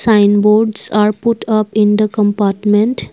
Signboards are put up in the compartment.